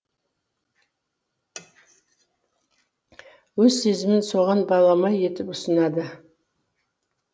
өз сезімін соған балама етіп ұсынады